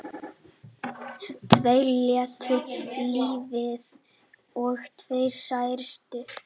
Tveir létu lífið og tveir særðust